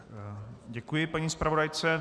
Děkuji paní zpravodajce.